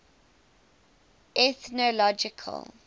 ethnological